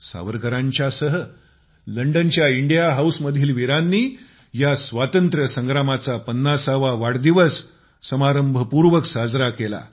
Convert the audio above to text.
सावरकरांसह लंडनच्या India House मधील वीरांनी या स्वातंत्र्यसंग्रामाचा पन्नासावा वाढदिवस समारंभपूर्वक साजरा केला